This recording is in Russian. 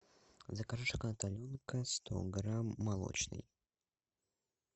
закажи шоколад аленка сто грамм молочный